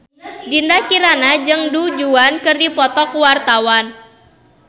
Dinda Kirana jeung Du Juan keur dipoto ku wartawan